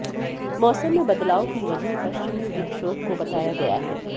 मौसम में बदलाव की वजह पश्चिमी विक्षोभ को बताया गया है